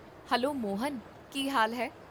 Hello Mohan, ਕੀ ਹਾਲ ਹੈ?